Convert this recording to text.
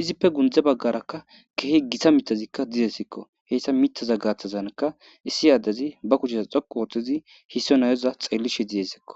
izippe gundze baggarakka kehi gitsa mitazikka didesikko heyssa mitaza gaaththazanka issi addezi ba kuchesa xoqu ooththezi hisso nayoza xeellishe diyesekko.